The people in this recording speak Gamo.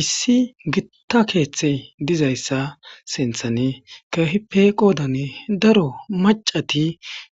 issi gitta keeththe dizayssa sinthan keehipe qoodan daro macati